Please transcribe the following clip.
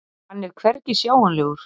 Hann er hvergi sjáanlegur.